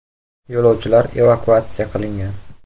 Yo‘lovchilar evakuatsiya qilingan.